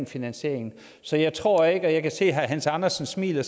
finansieringen så jeg tror ikke jeg kan se at herre hans andersen smiler